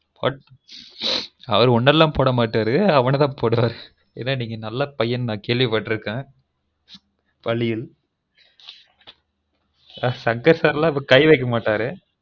ம் அவரு உங்கலலாம் poaட மாட்டரு அவன தான் போடுவாரு ஏன்னா நீங்க நல்ல பையன்னு நான் கேல்விபட்டுருகேன் வழீல்ல சங்கர் sir லாம் கை வைக்க மாட்டரு